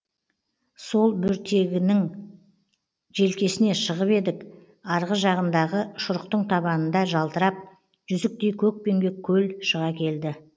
сол бөртегіңнің желкесіне шығып едік арғы жағындағы шұрықтың табанында жалтырап жүзіктей көкпеңбек көл шыға келді